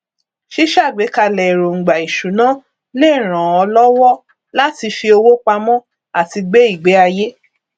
ṣíṣàgbékalẹ èròngbà ìṣúná lè ràn ọ lọwọ láti fi owó pamọ àti gbé ìgbéayé